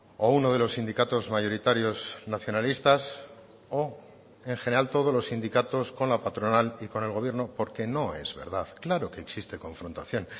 o uno de los sindicatos mayoritarios nacionalistas o en general todos los sindicatos con la patronal y con el gobierno porque no es verdad claro que existe confrontación